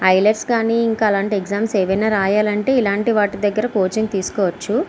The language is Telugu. హైలెట్ కానీ ఇంకా అలాంటివి ఏమైనా ఎగ్జామ్స్ రాయాలంటే ఇలాంటి వాటి దగ్గర కోచింగ్ తీసుకోవచ్చు.